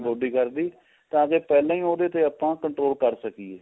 body ਕਰਦੀ ਤਾਂ ਕੀ ਪਹਿਲਾਂ ਹੀ ਉਹਦੇ ਤੇ ਆਪਾਂ control ਕਰ ਸਕੀਏ